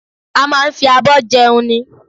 A máa ń fi abọ́ jẹun ni